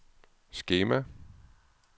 skema